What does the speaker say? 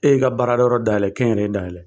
E y' i ka baara kɛ yɔrɔ dayɛlɛn k' iyi nɛɛn dayɛlɛn